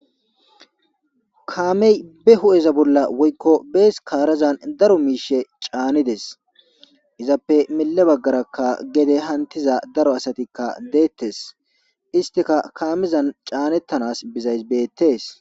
Kaamey be hudheza bolla woyiko bees kaarazan daro miishe caanides izappe mile baggarakka gede hantiza daro asatikka deettes istika kaamezan caanettanas bizays beettees